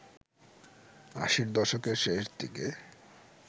আশির দশকের শেষ দিকে